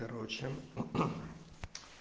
короче